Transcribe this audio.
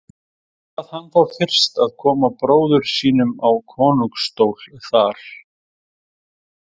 Ákvað hann þá fyrst að koma bróður sínum á konungsstól þar.